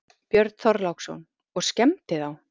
Björn Þorláksson: Og skemmdi þá?